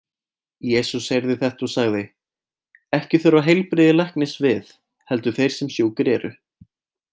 Jesús heyrði þetta og sagði: Ekki þurfa heilbrigðir læknis við, heldur þeir sem sjúkir eru.